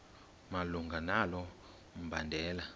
malunga nalo mbandela